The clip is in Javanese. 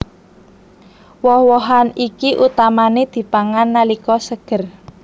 Woh wohan iki utamané dipangan nalika seger